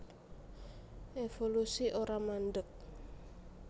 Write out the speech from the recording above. Évolusi ora mandheg